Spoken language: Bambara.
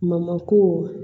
Mamako